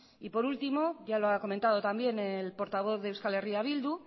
por último y ya lo ha comentado también el portavoz de eh bildu